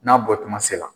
N'a bɔtuma se la